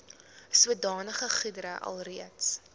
sodanige goedere alreeds